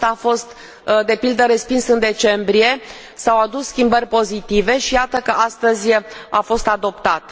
Acesta a fost de pildă respins în decembrie, s au adus schimbări pozitive și iată că astăzi a fost adoptat.